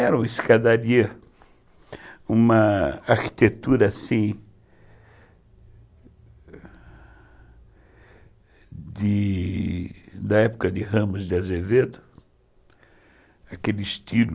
Era uma escadaria, uma arquitetura assim, da época de Ramos de Azevedo, aquele estilo.